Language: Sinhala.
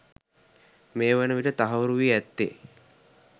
මේ වන විට තහවුරු වී ඇත්තේ